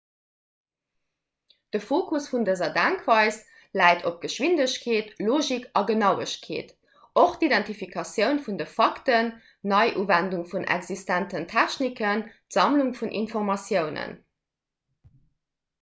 de fokus vun dëser denkweis läit op geschwindegkeet logik a genauegkeet och d'identifikatioun vun de fakten d'neiuwendung vun existenten techniken d'sammlung vun informatiounen